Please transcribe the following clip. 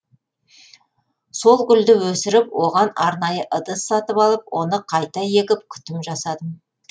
сол гүлді өсіріп оған арнайы ыдыс сатып алып оны қайта егіп күтім жасадым